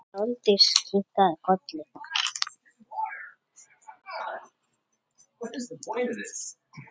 Sóldís kinkaði kolli.